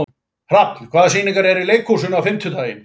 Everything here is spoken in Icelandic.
Hrafn, hvaða sýningar eru í leikhúsinu á fimmtudaginn?